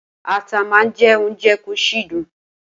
Ata má ń jẹ́ ounje kò sì dùn